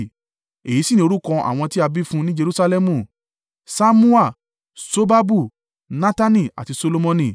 Èyí sì ni orúkọ àwọn tí a bí fún un ní Jerusalẹmu; Ṣammua, Ṣobabu, Natani àti Solomoni.